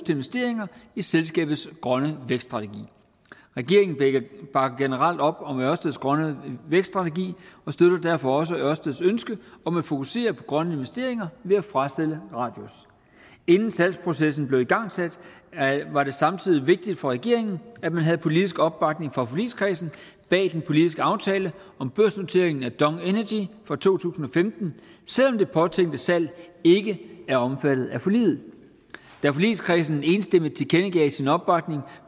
investeringer i selskabets grønne vækststrategi regeringen bakker generelt op om ørsteds grønne vækststrategi og støtter derfor også ørsteds ønske om at fokusere på grønne investeringer ved at frasælge radius inden salgsprocessen blev igangsat var det samtidig vigtigt for regeringen at man havde politisk opbakning fra forligskredsen bag den politiske aftale om børsnoteringen af dong energy fra to tusind og femten selv om det påtænkte salg ikke er omfattet af forliget da forligskredsen enstemmigt tilkendegav sin opbakning